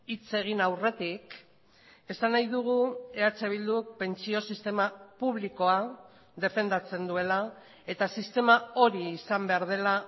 hitz egin aurretik esan nahi dugu eh bilduk pentsio sistema publikoa defendatzen duela eta sistema hori izan behar dela